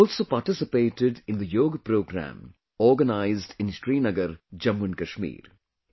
I also participated in the yoga program organized in Srinagar, Jammu and Kashmir